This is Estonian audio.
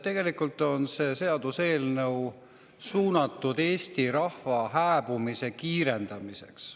Tegelikult on see seaduseelnõu Eesti rahva hääbumise kiirendamiseks.